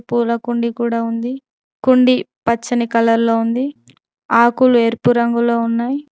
పూల కుండీ కూడా ఉంది కుండి పచ్చని కళల్లో ఉంది ఆకులు ఏర్పు రంగులో ఉన్నాయి.